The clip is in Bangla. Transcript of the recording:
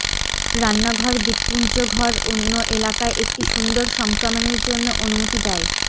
রান্নাঘর দ্বীপপুঞ্জ ঘর অন্য এলাকায় একটি সুন্দর সংক্রমণের জন্য অনুমতি দেয়